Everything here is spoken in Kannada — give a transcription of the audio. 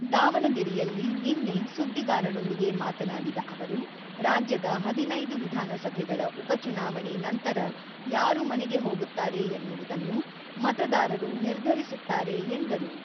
ದಾವಣಗೆರೆಯಲ್ಲಿ ನಿನ್ನೆ ಸುದ್ದಿಗಾರರೊಂದಿಗೆ ಮಾತನಾಡಿದ ಅವರು, ರಾಜ್ಯದ ಹದಿನೈದು ವಿಧಾನಸಭೆಗಳ ಉಪ ಚುನಾವಣೆ ನಂತರ ಯಾರು ಮನೆಗೆ ಹೋಗುತ್ತಾರೆ ಎನ್ನುವುದನ್ನು ಮತದಾರರು ನಿರ್ಧರಿಸುತ್ತಾರೆ ಎಂದರು.